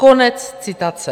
Konec citace.